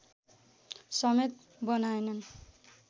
समेत बनाएनन्